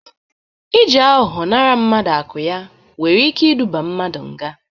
Ị ji aghọghọ nara mmadụ akụ ya nwere ike iduba mmadụ nga.